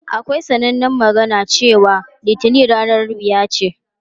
Akwai sanannen magana cewa "Litinin ranar wuya ce".